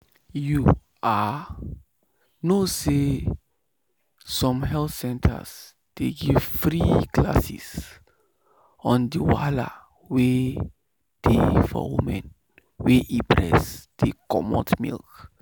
you ah know say some health center dey give free class on the wahala wey dey for woman wey e breast dey comot milk.